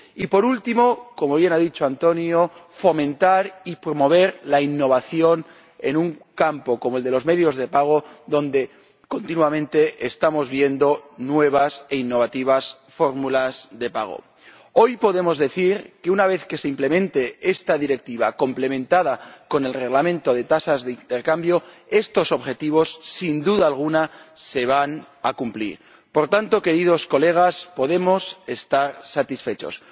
Y por último, como bien ha dicho Antonio, fomentar y promover la innovación en un campo como el de los medios de pago, donde continuamente estamos viendo nuevas e innovativas fórmulas de pago. Hoy podemos decir que, una vez que se implemente esta Directiva, complementada con el Reglamento de tasas de intercambio, estos objetivos, sin duda alguna, se van a cumplir. Por tanto, queridos colegas, podemos estar satisfechos.